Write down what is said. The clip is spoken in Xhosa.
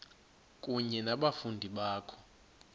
kunye nabafundi bakho